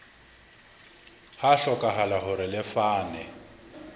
ha hlokahala hore le fane